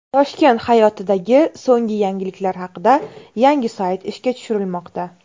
Toshkent hayotidagi so‘nggi yangiliklar haqida yangi sayt ishga tushirilmoqda.